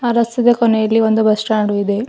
ಆ ರಸ್ತದ ಕೊನೆಯಲ್ಲಿ ಒಂದು ಬಸ್ ಸ್ಟಾಂಡು ಇದೆ.